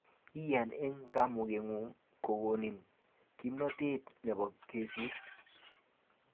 Iyan eng kamukengung kokonin kimnatet nebo kesir